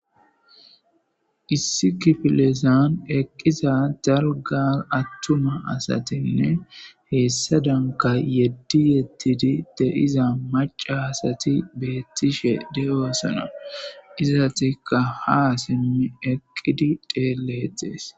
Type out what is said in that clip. Issi kifilezan eqida daliga atuma asatinne hesadanikka yedi yedidi deiza maca asat betishe deosoona izetikja ha simidi xeeletees